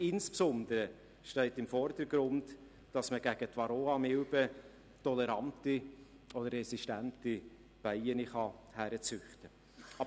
Insbesondere steht im Vordergrund, dass man gegen die Varroamilbe tolerante oder resistente Bienen heranzüchten kann.